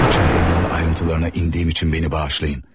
Bu çılgınlığın ayrıntılarına indiyim üçün beni bağışlayın.